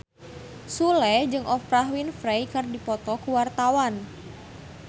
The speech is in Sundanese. Sule jeung Oprah Winfrey keur dipoto ku wartawan